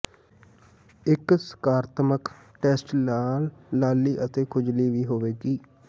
ਇੱਕ ਸਕਾਰਾਤਮਕ ਟੈਸਟ ਨਾਲ ਲਾਲੀ ਅਤੇ ਖੁਜਲੀ ਵੀ ਹੋਵੇਗੀ